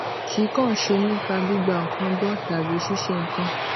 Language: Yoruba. kì í kàn ṣe nípa gbígba nǹkan gbó tàbí ṣíṣe nǹkan